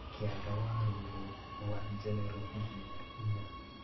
Kĩanda wa rũri rwa general hihinya inya